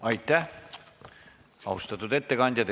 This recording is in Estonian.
Aitäh, austatud ettekandja!